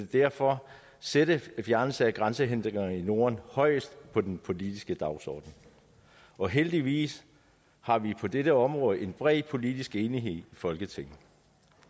derfor sætte fjernelse af grænsehindringer i norden højest på den politiske dagsorden og heldigvis har vi på dette område en bred politisk enighed i folketinget